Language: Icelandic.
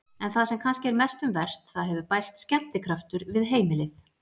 En það sem kannski er mest um vert: það hefur bæst skemmtikraftur við heimilið.